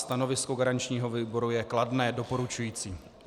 Stanovisko garančního výboru je kladné, doporučující.